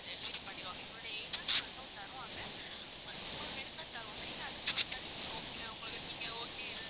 delivery பண்ணிடுவாங்க எங்களுடைய agents வந்து தருவாங்க உங்களுக்கு menu card தருவாங்க நீங்க அத choose பண்ணி okay உங்களு~ நீங்க okay